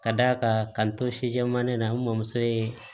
Ka d'a kan k'an to sijɛman in na n mɔmuso ye